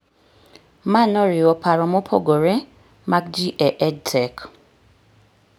Ma noriwo paro mopogore mag ji e EdTech